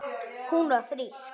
Hún var frísk.